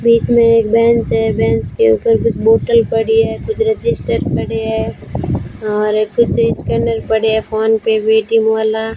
बीच में एक बेंच है बेंच के ऊपर कुछ बोटल पड़ी है कुछ रजिस्टर पड़े है और कुछ स्कैनर पड़े है फोन पे वेटिंग वाला।